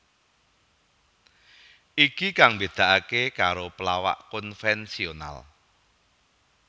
Iki kang mbedakaké karo pelawak konvensional